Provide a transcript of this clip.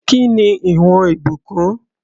Kí ni ìwọ̀n Ìbùkún?